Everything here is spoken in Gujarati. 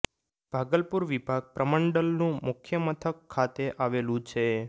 ભાગલપુર વિભાગ પ્રમંડલનું મુખ્ય મથક ખાતે આવેલું છે